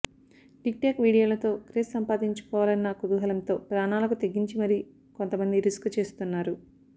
TikTok వీడియోలతో craze సంపాదించుకోవాలన్న కుతూహలంతో ప్రాణాలకు తెగించి మరీ కొంతమంది రిస్క్ చేస్తున్నారు